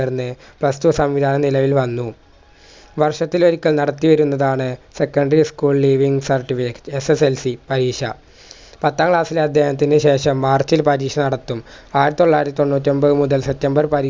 ർന്ന് plus two സംവിധാനം നിലവിൽ വന്നു വർഷത്തിൽ ഒരിക്കൽ നടത്തിയിരുന്നതാണ് secondary school leaving certificateSSLC പരീക്ഷ പത്താം class ലെ അധ്യയനത്തിനുശേഷം march ഇൽ പരീക്ഷ നടത്തും ആയിരത്തൊള്ളായിരത്തി തൊണ്ണൂറ്റിയൊമ്പതുമുതൽ september പന്ത്രണ്ട്